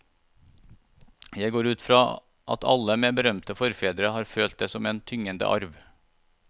Jeg går ut fra at alle med berømte forfedre har følt det som en tyngende arv.